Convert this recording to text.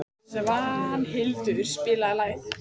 Svanhildur, spilaðu lag.